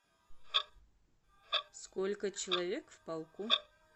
сколько человек в полку